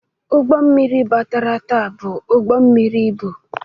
Ụgbọ mmiri batara taa bụ ụgbọ mmiri ibu.